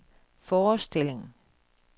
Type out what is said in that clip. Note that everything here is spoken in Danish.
forestilling